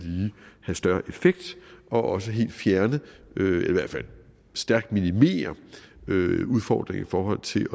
have større effekt og også helt fjerne eller i hvert fald stærkt minimere udfordringer i forhold til